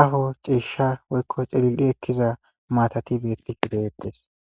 aho ciisha woykko celil7i ekkiza maatati beettisi de7eettes